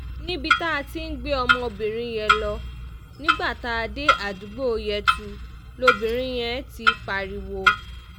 níbi tá a ti ń gbé ọmọbìnrin yẹn lọ nígbà tá a dé àdúgbò yẹtu lobìnrin yẹn ti pariwo